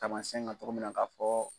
Taamasiɲɛn kan cogo min na ka fɔ